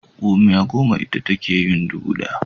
Gomiya goma ita take yin dubu ɗaya.